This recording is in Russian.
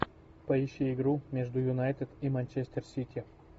поищи игру между юнайтед и манчестер сити